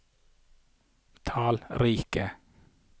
tallrike